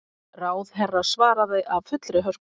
Ráðherra svaraði af fullri hörku.